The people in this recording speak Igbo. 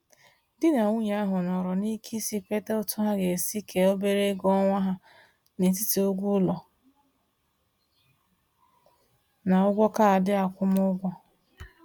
Di na nwunye ahụ nọrọ n’ike isi kweta otú ha ga-esi kee obere ego ọnwa ha n'etiti ụgwọ ụlọ na ụgwọ kaadị akwụmụgwọ.